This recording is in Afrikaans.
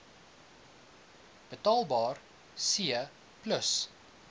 betaalbaar c plus